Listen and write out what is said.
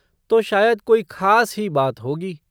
तो शायद कोई ख़ास ही बात होगी।